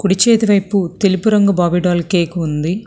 కుడి చేతి వైపు తెలుపు రంగు బావి డాల్ కేకు ఉంది.